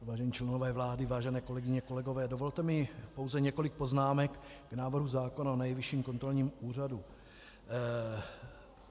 Vážení členové vlády, vážené kolegyně, kolegové, dovolte mi pouze několik poznámek k návrhu zákona o Nejvyšším kontrolním úřadu.